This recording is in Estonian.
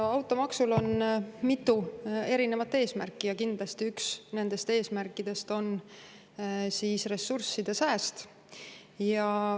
Automaksul on mitu erinevat eesmärki ja kindlasti üks nendest eesmärkidest on ressursside sääst.